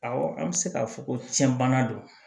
Awɔ an bɛ se k'a fɔ ko tiɲɛ bana don